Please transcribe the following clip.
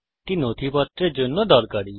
এটি নথিপত্রের জন্য দরকারী